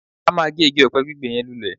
A máa gé igi ọ̀pẹ gbígbẹ yẹn lulẹ̀